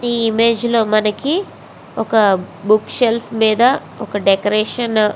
ఈ ఇమేజ్ లో మనకి ఒక బుక్ షెల్ఫ్ మీద ఒక డెకరేషన్ --